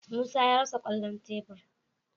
Musa ya rasa kwallon tebur.